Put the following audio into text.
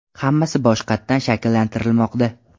Hammasi boshqatdan shakllantirilmoqda.